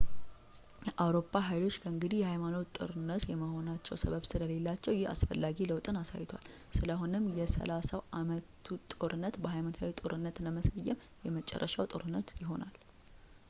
የአውሮፓ ኃይሎች ከእንግዲህ የሃይማኖት ጦርነቶች የመሆናቸው ሰበብ ስለሌላቸው ይህ አስፈላጊ ለውጥን አሳይቷል ስለሆነም የሰላሳው ዓመቱን ጦርነት በሃይማኖታዊ ጦርነት ለመሰየም የመጨረሻው ጦርነት ይሆናል